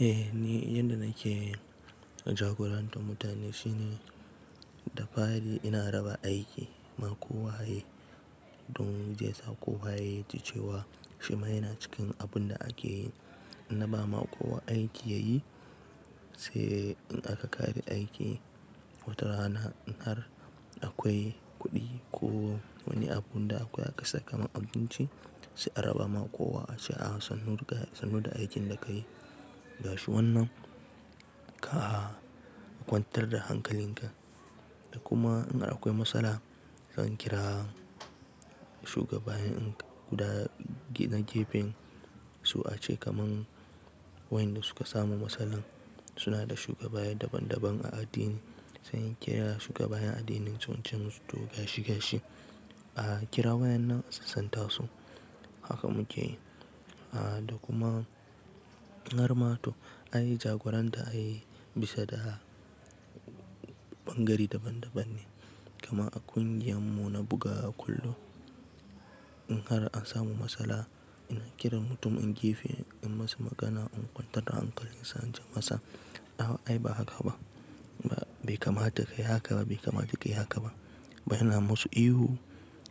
Eh, ni yanda nake yi. Jagorantar mutane shine da fari ina raba aiki na kowaye don zai sa kowaye ya ji cewa shi ma yana cikin abun da ake yi. In na ba ma kowa aiki ya yi, sai in aka kare aiki wata rana in har akwai kuɗi ko wani abun da akwai aka saka ma abinci sai a raba ma kowa a ce “ah sannu da aikin da ka yi gashi wannan, ka kwantar da hankalin ka”. Da kuma in har akwai matsala zan kira shugabanni in guda na gefen su a ce kamar wayanda suka samu matsalan suna da shugaba daban daban a addini sai in kira shugabayen addinin su ince musu toh gashi gashi. A kira wayan nan a sassanta su, haka muke yi. A da kuma in har matu an yi jagoranta an yi bisa da bangari daban daban ne. Kamar a kungiyar mu na bugawa kullum in har an samu matsala ina kiran mutum in jefa in masa magana in kwantar da hankalin sa in ce masa “a a ai ba haka ba, bai kamata ka yi haka ba, bai kamata ka yi haka ba”. Bana musu ihu,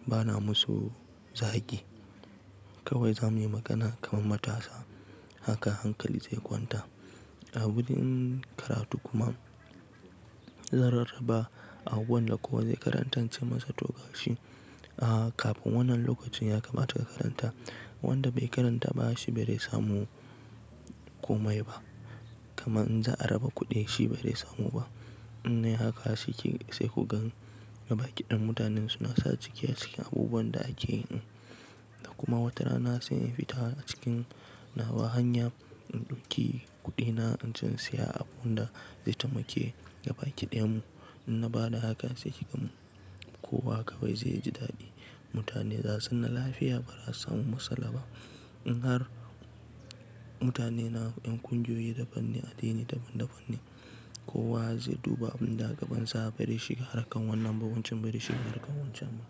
bana musu zagi. Kawai zamuyi magana kamar matasa haka hankali zai kwanta. A wurin karatu kuma zan rarraba abubuwan da kowa zai karantar in ce masa to gashi. A kafin wannan lokacin ya kamata ka karanta, wanda bai karanta ba shi barai samu komai ba. Kaman in za a raba kuɗi shi barai samu ba. In nayi haka sai kugan gaba kiɗan mutanen suna sa cike cike abubuwan da ake yin. Da kuma wata rana sai in fita a cikin nawa hanya in ɗauki kuɗina in ce siya abun da zai tamake gaba kiɗen mu. In na bada haka sai kigan kowa kawai zai ji daɗi. Mutane za su na lafiya ba za su samu matsala ba. In har mutane na ƴan kungiyoyi daban ne, addini daban daban ne, kowa zai duba abun da gabansa barai shiga harkar wannan ba wancan barai shiga harkar wancan ba.